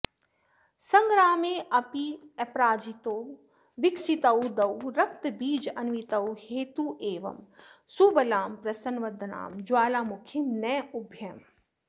सङ्ग्रामेऽप्यपराजितौ विकसितौ द्वौ रक्तबीजान्वितौ हत्वैवं सुबलां प्रसन्नवदनां ज्वालामुखीं नौभ्यहम्